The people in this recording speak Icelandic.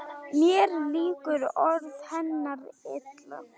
Mér líka orð hennar illa: